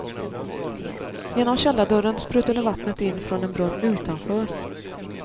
Genom källardörren sprutade vattnet in från en brunn utanför.